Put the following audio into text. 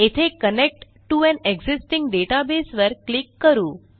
येथे connect to an existing database वर क्लिक करू